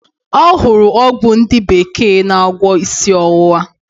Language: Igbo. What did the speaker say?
Ọhụrụ ọgwụ ndi bekee na agwo isi owuwa.